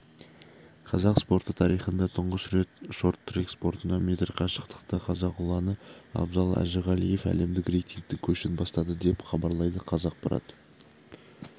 қазақ спорты тарихында тұңғыш рет шорт-трек спортынан метр қашықтықта қазақ ұланы абзал әжіғалиев әлемдік рейтингтің көшін бастады деп хабарлайды қазақпарат